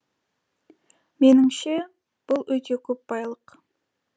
меніңше бұл өте көп байлық